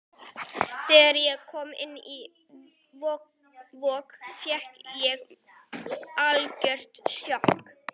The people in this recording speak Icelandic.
Þegar ég kom inn á Vog fékk ég algjört sjokk.